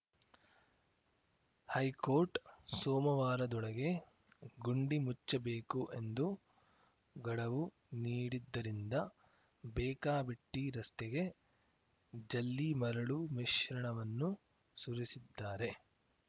high court ಸೋಮವಾರದೊಳಗೆ ಗುಂಡಿ ಮುಚ್ಚಬೇಕು ಎಂದು ಗಡುವು ನೀಡಿದ್ದರಿಂದ ಬೇಕಾಬಿಟ್ಟಿರಸ್ತೆಗೆ ಜಲ್ಲಿ ಮರಳು ಮಿಶ್ರಣವನ್ನು ಸುರಿಸಿದ್ದಾರೆ